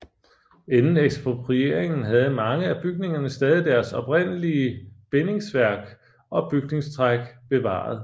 Inden eksproprieringen havde mange af bygningerne stadig deres oprindelige bindingsværk og bygningstræk bevaret